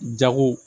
Jago